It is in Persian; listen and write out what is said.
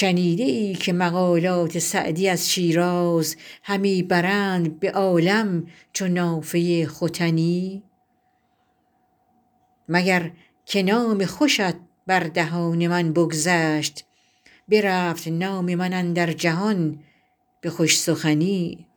شنیده ای که مقالات سعدی از شیراز همی برند به عالم چو نافه ختنی مگر که نام خوشت بر دهان من بگذشت برفت نام من اندر جهان به خوش سخنی